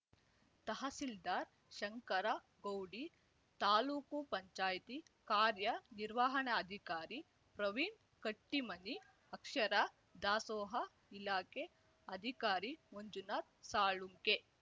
ತಹಸೀಲ್ದಾರ್ ಶಂಕರ ಗೌಡಿ ತಾಲೂಕುಪಂಚಾಯ್ತಿ ಕಾರ್ಯನಿರ್ವಹಣಾಧಿಕಾರಿ ಪ್ರವೀಣ್ ಕಟ್ಟಿಮನಿ ಅಕ್ಷರ ದಾಸೋಹ ಇಲಾಖೆ ಅಧಿಕಾರಿ ಮಂಜುನಾಥ್ ಸಾಳುಂಕೆ